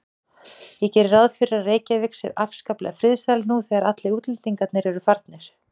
Ég geri ráð fyrir að Reykjavík sé afskaplega friðsæl nú þegar allir útlendingar eru farnir.